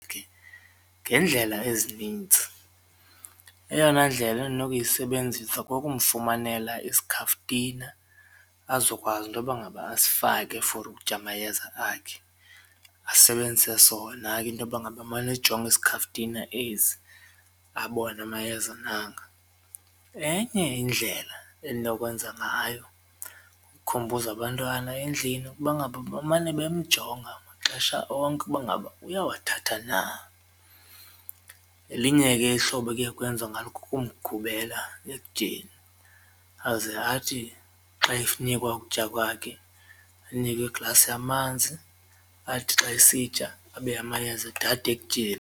Ngendlela ezinintsi eyona ndlela endinokuyisebenzisa kukumfumanela isikhaftina azokwazi intoba ngaba asifake for ukutya amayeza akhe asebenzise sona ke intoba ngaba emane ejonga isikhaftina esi abone amayeza nanga. Enye indlela endinokwenza ngayo ukukhumbuza abantwana endlini ukuba ngaba bemane bemjonga maxesha onke ukuba ngaba uyawathatha na, elinye ke ihlobo ekuye kwenziwe ngalo kukumgubela ekutyeni aze athi xa enikwa ukutya kwakhe anikwe iglasi yamanzi, athi xa esitya abe amayeza edada ekutyeni.